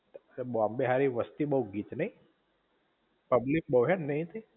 બોમ્બે હારી વસ્તી બોવ ગીચ નઇ. પબ્લિક બો હૈ નહિ કે